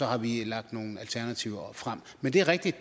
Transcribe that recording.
har vi lagt nogle alternativer frem men det er rigtigt at